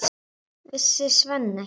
Vissi Svenni ekki?